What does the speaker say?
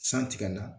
San tigɛ na